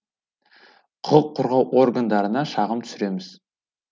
құқық қорғау органдарына шағым түсіреміз